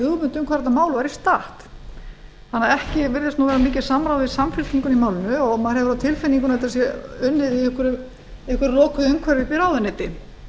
hugmynd um hvar þetta mál væri statt þannig að ekki virðist nú vera mikið samráð í samfylkingunni í málinu og maður hefur á tilfinningunni að þetta sé unnið í einhverju lokuðu umhverfi uppi í ráðuneyti